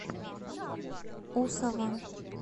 усова